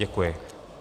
Děkuji.